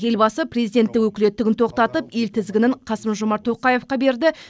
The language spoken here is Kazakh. елбасы президенттік өкілеттігін тоқтатып ел тізгінін қасым жомарт тоқаевқа берді